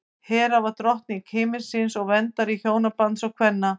hera var drottning himinsins og verndari hjónabandsins og kvenna